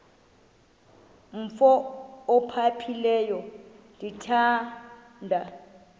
umf ophaphileyo ndithanda